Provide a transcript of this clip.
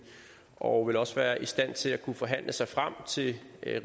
og de også være i stand til at kunne forhandle sig frem til